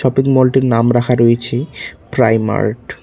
মল -টির নাম রাখা রয়েছে প্রাইমার্ট।